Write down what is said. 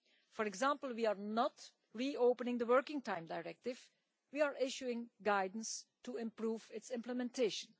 For example, we are not reopening the Working Time Directive we are issuing guidance to improve its implementation.